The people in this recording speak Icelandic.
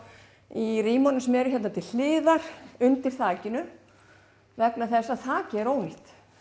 í rýmunum sem eru hér til hliðar undir þakinu vegna þess að þakið er ónýtt